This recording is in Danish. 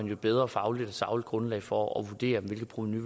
jo et bedre fagligt og sagligt grundlag for at vurdere hvilket provenu